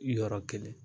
Yɔrɔ kelen